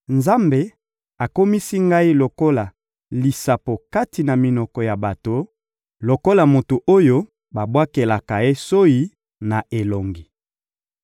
Nzambe akomisi ngai lokola lisapo kati na minoko ya bato, lokola moto oyo babwakelaka soyi na elongi.